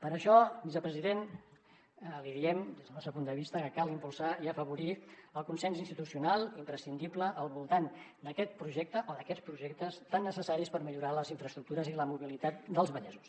per això vicepresident li diem des del nostre punt de vista que cal impulsar i afavorir el consens institucional imprescindible al voltant d’aquest projecte o d’aquests projectes tan necessaris per millorar les infraestructures i la mobilitat dels vallesos